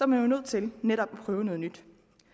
man nødt til netop at prøve noget nyt